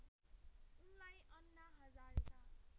उनलाई अन्ना हजारेका